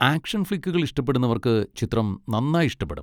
Action ഫ്ലിക്കുകൾ ഇഷ്ടപ്പെടുന്നവർക്ക് ചിത്രം നന്നായി ഇഷ്ടപ്പെടും.